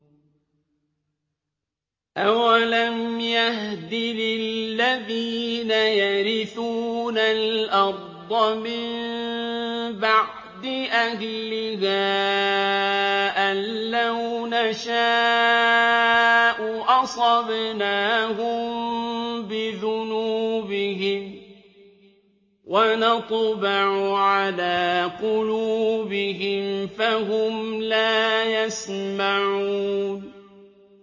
أَوَلَمْ يَهْدِ لِلَّذِينَ يَرِثُونَ الْأَرْضَ مِن بَعْدِ أَهْلِهَا أَن لَّوْ نَشَاءُ أَصَبْنَاهُم بِذُنُوبِهِمْ ۚ وَنَطْبَعُ عَلَىٰ قُلُوبِهِمْ فَهُمْ لَا يَسْمَعُونَ